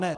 Ne.